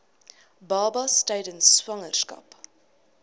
babas tydens swangerskap